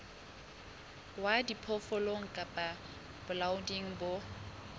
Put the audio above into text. wa diphoofolo kapa bolaodi bo